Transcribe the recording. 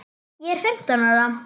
Ég er fimmtán ára.